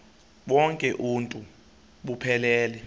bonk uuntu buphelele